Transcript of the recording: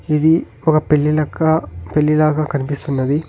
ఇది ఒక పెళ్లి లెక్క పెళ్లి లాగా కనిపిస్తున్నది.